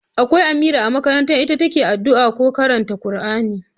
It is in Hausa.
Akwai Amira a makaranta, ita ke yi addu'a ko ta karanta Kur'ani